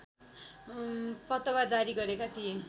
फतवा जारी गरेका थिए